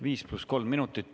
Viis pluss kolm minutit.